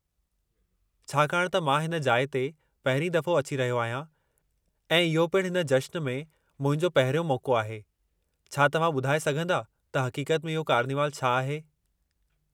छाकाणि त मां हिन जाइ ते पहिरीं दफ़ो अची रहियो आहियां ऐं इहो पिणु हिन जशन में मुंहिंजो पहिरियों मौक़ो आहे, छा तव्हां ॿुधाए सघंदा त हक़ीक़त में इहो कार्निवलु छा आहे?